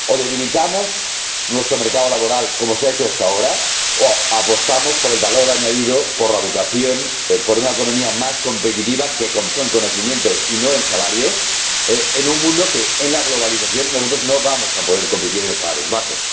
hacer. O debilitamos nuestro mercado laboral, como se ha hecho hasta ahora, o apostamos por el valor añadido, por la educación, por una economía más competitiva en conocimiento, y no en salarios, en un mundo en el que, debido a la globalización, nosotros no vamos a poder competir con salarios bajos.